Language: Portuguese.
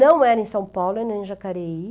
Não era em São Paulo, era em Jacareí.